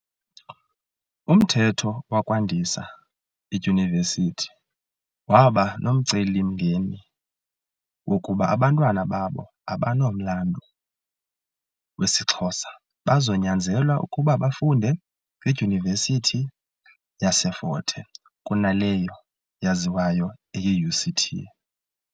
Umthetho wokwandisa iidyunivesithi waba nomcelimngeni wokuba abantwana babo, abanomlandu wesiXhosa, bazonyanzelwa ukuba bafunde kwidyunivesithi yase Fort Hare kunaleyo yaziwayo eyi UCT.